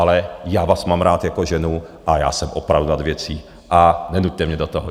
Ale já vás mám rád jako ženu a já jsem opravdu nad věcí a nenuťte mě do toho.